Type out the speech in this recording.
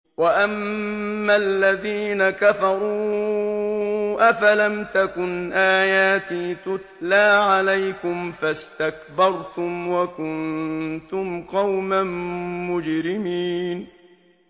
وَأَمَّا الَّذِينَ كَفَرُوا أَفَلَمْ تَكُنْ آيَاتِي تُتْلَىٰ عَلَيْكُمْ فَاسْتَكْبَرْتُمْ وَكُنتُمْ قَوْمًا مُّجْرِمِينَ